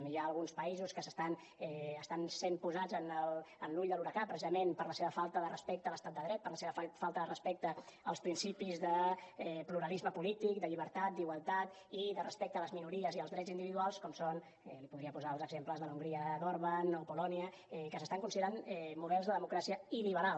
hi ha alguns països que estan sent posats en l’ull de l’huracà precisament per la seva falta de respecte a l’estat de dret per la seva falta de respecte als principis de pluralisme polític de llibertat d’igualtat i de respecte a les minories i als drets individuals com són li podria posar exemples de l’hongria d’orbán o polònia que s’estan considerant models de democràcia il·liberal